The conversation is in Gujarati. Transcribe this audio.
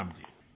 પ્રણામ જી